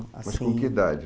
Mas com que idade?